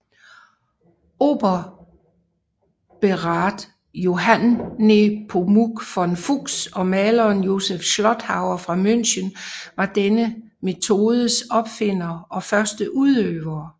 Oberbergrat Johann Nepomuk von Fuchs og maleren Josef Schlotthauer fra München var denne metodes opfindere og første udøvere